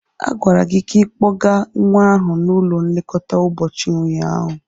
A gwara gị ka ikpọga nwa ahụ n'ụlọ nlekọta ụbọchị ụnyaahụ.